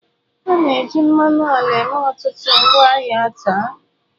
A na-eji mmanụ ala eme ọtụtụ ngwaahịa taa.